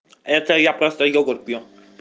это я просто йогурт пью